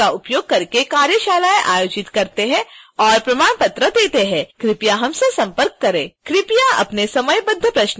हम spoken tutorials का उपयोग करके कार्यशालाएं आयोजित करते हैं और प्रमाण पत्र देते हैं कृपया हमसे संपर्क करें